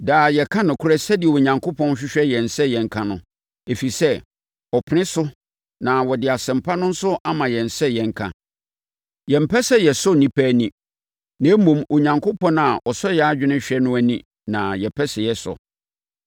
Daa yɛka nokorɛ sɛdeɛ Onyankopɔn hwehwɛ yɛn sɛ yɛnka no, ɛfiri sɛ, ɔpene so na ɔde Asɛmpa no nso ama yɛn sɛ yɛnka. Yɛmpɛ sɛ yɛsɔ nnipa ani, na mmom, Onyankopɔn a ɔsɔ yɛn adwene hwɛ no ani na yɛpɛ sɛ yɛsɔ.